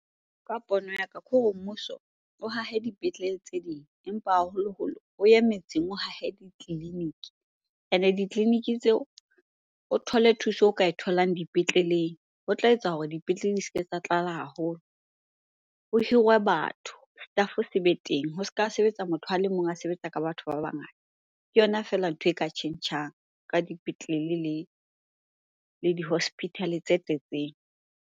Ka pono ya ka, ke hore mmuso o hahe dipetlele tse ding empa haholoholo o ye metseng o hahe ditleliniki. Ene ditleleniki tseo, o thole thuso o ka e tholang dipetleleng. Ho tla etsa hore dipetlele di se ke tsa tlala haholo. Ho hirwe batho, staff se be teng, ho se ka sebetsa motho a le mong a sebetsa ka batho ba bangata. Ke yona feela ntho e ka tjhentjhang ka dipetlele le di-hospital-e tse tletseng.